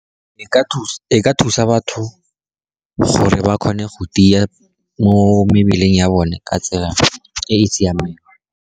E ka thusa batho gore ba kgone go tia mo mebileng ya bone ka tsela e e siameng.